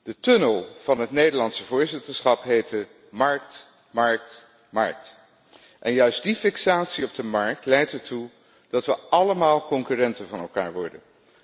De tunnel van het Nederlandse voorzitterschap heette markt, markt, markt, en juist die fixatie op de markt leidt ertoe dat we allemaal concurrenten van elkaar worden.